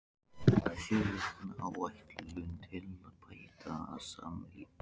SJÖ VIKNA ÁÆTLUN TIL AÐ BÆTA SAMLÍF